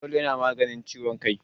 Fanadol ya na maganin ciwon kai